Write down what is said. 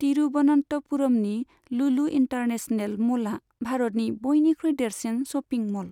तिरुबनन्तपुरमनि Lulu international म'लआ भारतनि बयनिख्रुइ देरसिन शपिं म'ल।